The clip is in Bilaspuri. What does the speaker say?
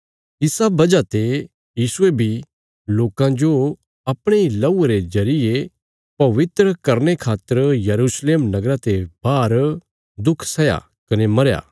इसा वजह ते यीशुये बी लोकां जो अपणे इ लहूये रे जरिये पवित्र करने खातर यरूशलेम नगरा ते बाहर दुख सैया कने मरया